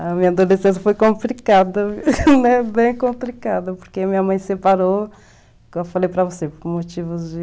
A minha adolescência foi complicada, né, bem complicada, porque minha mãe separou, que eu falei para você, por motivos de...